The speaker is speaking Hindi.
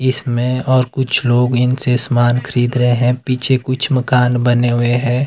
इसमें और कुछ लोग इसे सामान खरीद रहे हैं पीछे कुछ मकान बने हुए हैं।